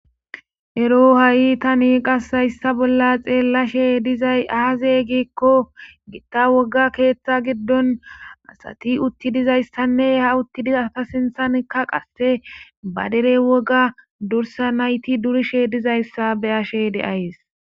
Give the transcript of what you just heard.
ero ha7i tani qasayssa bolla xeellashe dizay aazey gikko gitta woga keeththa giddon asati utti dizayssanne ha utti dizata sinthankka qasse badere woga dursa nayti durishe dizayssa beyashe deayes